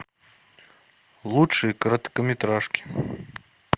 лучшие короткометражки